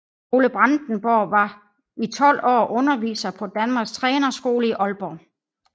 Ole Brandenborg var i 12 år underviser på Danmarks Trænerskole i Aalborg